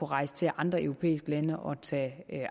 rejse til andre europæiske lande og tage